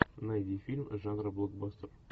найди фильм жанра блокбастер